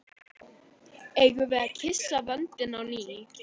Eigum við að kyssa vöndinn á ný?